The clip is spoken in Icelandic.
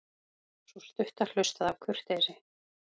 Sú stutta hlustaði af kurteisi.